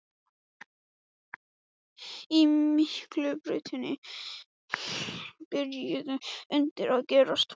Á Miklubrautinni byrjuðu undrin að gerast.